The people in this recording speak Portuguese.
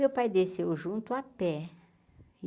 Meu pai desceu junto à pé.